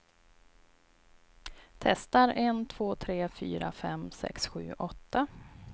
Testar en två tre fyra fem sex sju åtta.